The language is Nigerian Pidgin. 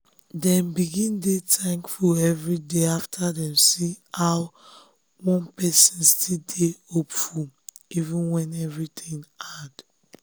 dem begin dey thankful every day after dem see how one person still dey hopeful even when things hard.